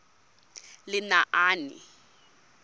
lenaane